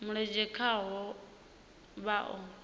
mulenzhe khaho vha o a